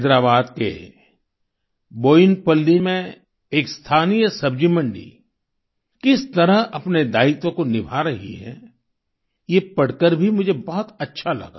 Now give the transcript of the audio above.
हैदराबाद के बोयिनपल्ली में एक स्थानीय सब्जी मंडी किस तरह अपने दायित्व को निभा रही है ये पढ़कर भी मुझे बहुत अच्छा लगा